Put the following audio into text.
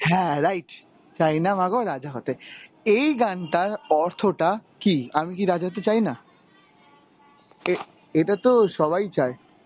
হ্যাঁ right. চাইনা মাগো রাজা হতে. এই গানটার অর্থটা কী, আমি কি রাজা হতে চাই না? এ এটা তো সবাই চায়.